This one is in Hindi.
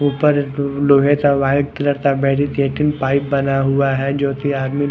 ऊपर लोहे का वाइट कलर का मेडिकेटिंग पाइप बना हुआ है जो की आदमी--